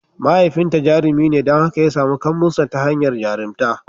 Mahaifinta jarumi ne don haka ya samu kambun sa ta hanyar jarumtaka.